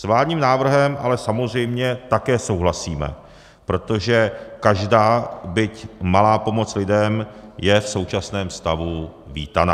S vládním návrhem ale samozřejmě také souhlasíme, protože každá, byť malá pomoc lidem je v současném stavu vítaná.